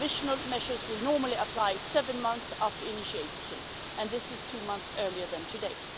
Provisional measures will normally apply seven months after initiation, and that is two months earlier than today.